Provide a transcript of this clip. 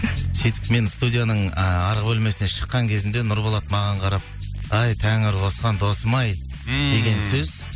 сөйтіп мен студияның ыыы арғы бөлмесінен шыққан кезінде нұрболат маған қарап ай тәңір қосқан досым ай ммм деген сөз